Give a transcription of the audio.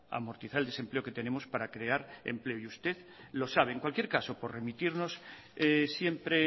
amortizar el desempleo que tenemos para crear empleo y usted lo sabe en cualquier caso por remitirnos siempre